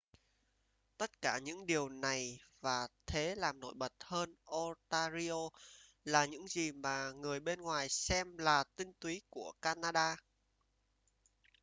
tất cả những điều này và thế làm nổi bật hơn ontario là những gì mà người bên ngoài xem là tinh túy của canada